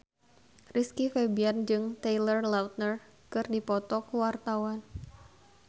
Rizky Febian jeung Taylor Lautner keur dipoto ku wartawan